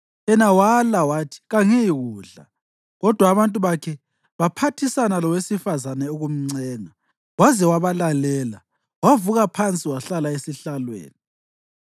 Yena wala wathi, “Kangiyikudla.” Kodwa abantu bakhe baphathisana lowesifazane ukumncenga, waze wabalalela. Wavuka phansi wahlala esihlalweni.